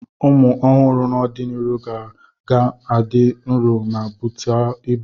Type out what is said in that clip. Ụmụ ọhụrụ n'ọdịnihu ka ga-adị nro ma butu ibu.